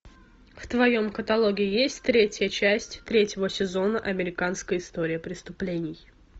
в твоем каталоге есть третья часть третьего сезона американская история преступлений